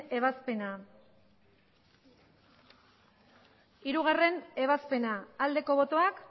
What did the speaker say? ebazpena hirugarrena ebazpena aldeko botoak